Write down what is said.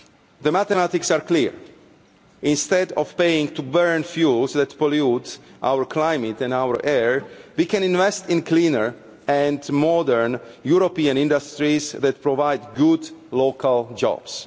The mathematics are clear, instead of paying to burn fuels that pollute our climate and our air, we can invest in cleaner and modern European industries that provide good local jobs.